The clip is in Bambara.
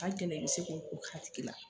A ka gɛlɛn i bi se ko k'a tigi la